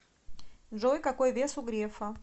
джой какой вес у грефа